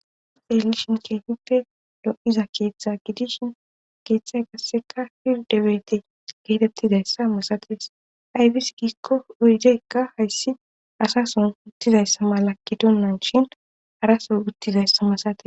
Haysafe xelishin keefippe do7iza keeththa gidishin keeththay gasseka fildebete geetettizayssa masates aybis giikko oygeykka hayssi asason uttizayssa mala kidonnan shin arasoy uttizayssa masae